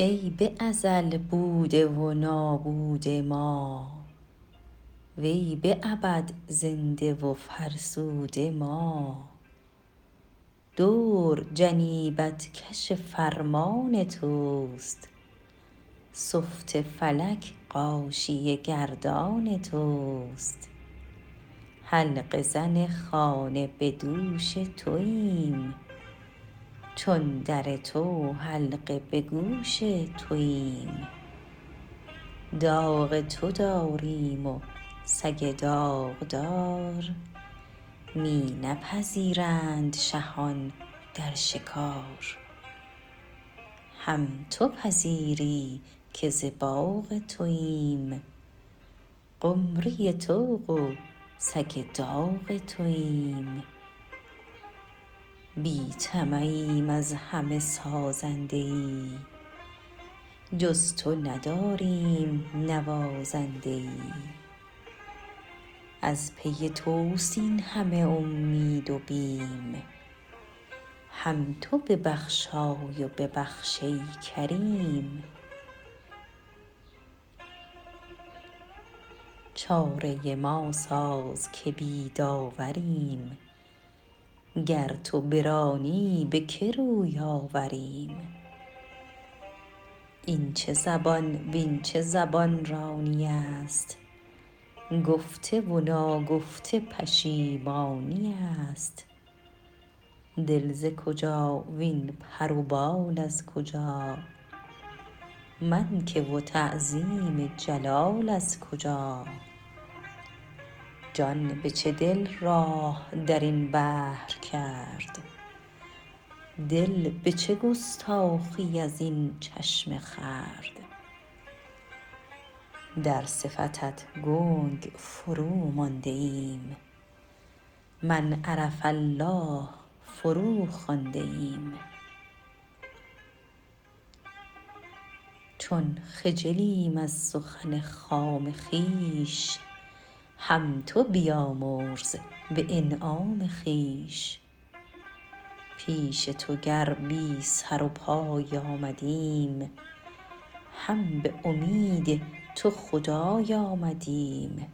ای به ازل بوده و نابوده ما وی به ابد زنده و فرسوده ما دور جنیبت کش فرمان تست سفت فلک غاشیه گردان تست حلقه زن خانه به دوش توایم چون در تو حلقه به گوش توایم داغ تو داریم و سگ داغدار می نپذیرند شهان در شکار هم تو پذیری که ز باغ توایم قمری طوق و سگ داغ توایم بی طمعیم از همه سازنده ای جز تو نداریم نوازنده ای از پی توست این همه امید و بیم هم تو ببخشای و ببخش ای کریم چاره ما ساز که بی داوریم گر تو برانی به که روی آوریم این چه زبان وین چه زبان رانی است گفته و ناگفته پشیمانی است دل ز کجا وین پر و بال از کجا من که و تعظیم جلال از کجا جان به چه دل راه درین بحر کرد دل به چه گستاخی ازین چشمه خورد در صفتت گنگ فرو مانده ایم من عرف الله فرو خوانده ایم چون خجلیم از سخن خام خویش هم تو بیامرز به انعام خویش پیش تو گر بی سر و پای آمدیم هم به امید تو خدای آمدیم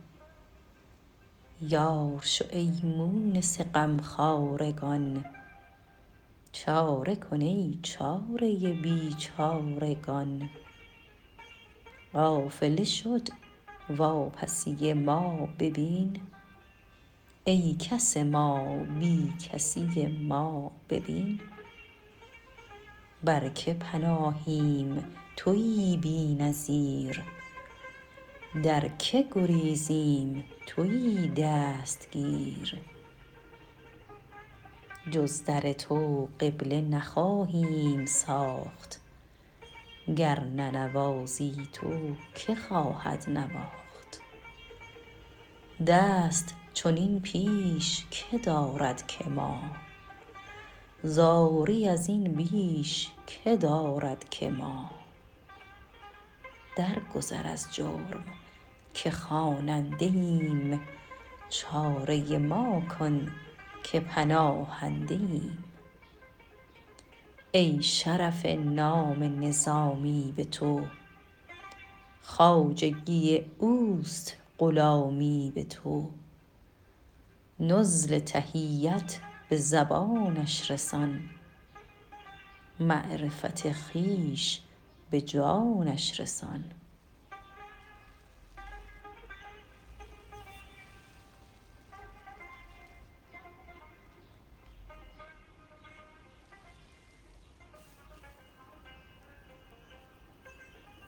یار شو ای مونس غمخوار گان چاره کن ای چاره بیچارگان قافله شد واپسی ما ببین ای کس ما بی کسی ما ببین بر که پناهیم تویی بی نظیر در که گریزیم تویی دستگیر جز در تو قبله نخواهیم ساخت گر ننوازی تو که خواهد نواخت دست چنین پیش که دارد که ما زاری ازین بیش که دارد که ما درگذر از جرم که خواننده ایم چاره ما کن که پناهنده ایم ای شرف نام نظامی به تو خواجگی اوست غلامی به تو نزل تحیت به زبانش رسان معرفت خویش به جانش رسان